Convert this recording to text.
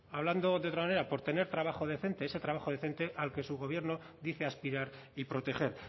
hablando de otra manera por tener trabajo decente ese trabajo decente al que su gobierno dice aspirar y proteger